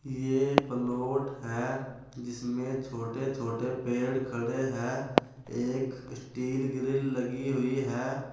ये पलोट है जिसमें छोटे-छोटे पेड़ खड़े हैं। एक स्टील ग्रिल लगी हुई है।